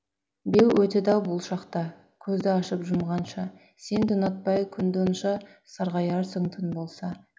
беу өтеді ау бұл шақ та көзді ашып жұмғанша сен де ұнатпай күнді онша сарғаярсың түн болса